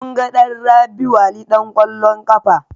Munga ɗan Rabi'u Ali ɗan ƙwallon ƙafa.